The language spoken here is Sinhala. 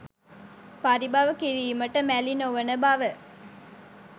පරිභව කිරීමට මැලි නොවන බව